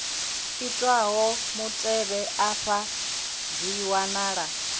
itwaho mutevhe afha dzi wanala